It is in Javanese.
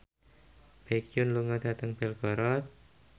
Baekhyun lunga dhateng Belgorod